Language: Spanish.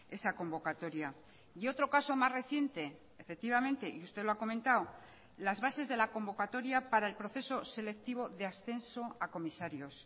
esa convocatoria y otro caso más reciente efectivamente y usted lo ha comentado las bases de la convocatoria para el proceso selectivo de ascenso a comisarios